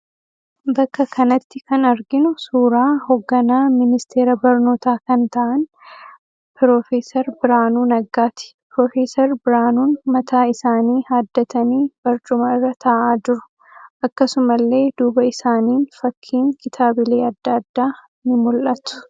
Bakka kanatti kan arginu suuraa hogganaa ministeera barnootaa kan ta'aan Pro. Birhaanuu Naggaati. Pro. Birhaanuun mataa isaanii haaddatanii barcuma irra ta'aa jiru. Akkasumallee duuba isaaniin fakkiin kitaabilee adda adda ni mul'atu.